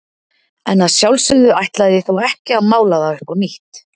En að sjálfsögðu ætlaði ég þó ekki að mála það upp á nýtt.